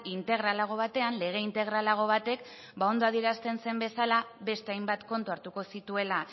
integralago batean lege integralago batek ondo adierazten zen bezala beste hainbat kontu hartuko zituela